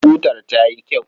Komfutar ta yi kyau.